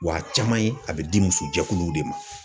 Wa a caman ye, a bɛ di muso jɛkuluw de ma.